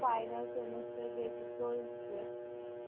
final semester যেহেতু চলছে